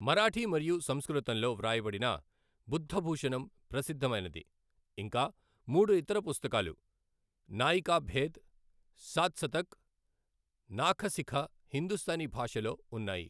మరాఠీ మరియు సంస్కృతంలో వ్రాయబడిన బుద్ధభూషణం ప్రసిద్ధమైనది, ఇంకా మూడు ఇతర పుస్తకాలు, నాయికాభేద్, సాత్సతక్, నాఖశిఖ హిందుస్థానీ భాషలో ఉన్నాయి.